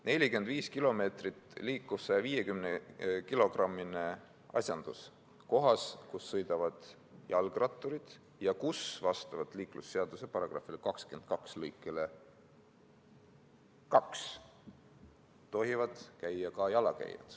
45 km/h liikuv 150-kilogrammine asjandus kohas, kus sõidavad jalgratturid ja kus vastavalt liiklusseaduse § 22 lõikele 2 tohivad käia ka jalakäijad.